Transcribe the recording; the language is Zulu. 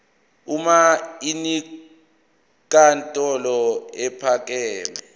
uma inkantolo ephakeme